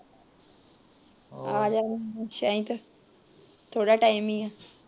ਥੋੜਾ ਟੈਮ ਈ ਐ।